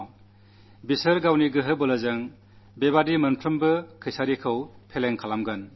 അവർ തങ്ങളുടെ ശൌര്യത്തിലൂടെ ഇതുപോലെയുള്ള എല്ലാ ഗൂഢതന്ത്രങ്ങളെയും പരാജയപ്പെടുത്തും